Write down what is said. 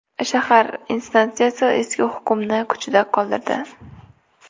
Shahar instansiyasi eski hukmni kuchida qoldirdi.